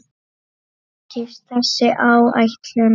Takist þessi áætlun